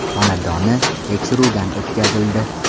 xonadoni tekshiruvdan o‘tkazildi.